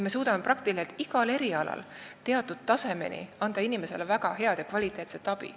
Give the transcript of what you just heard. Me suudame peaaegu igal erialal anda inimesele teatud tasemeni väga head ja kvaliteetset abi.